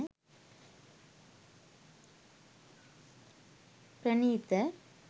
pranitha